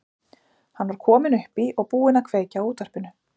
Hann var kominn upp í og búinn að kveikja á útvarpinu.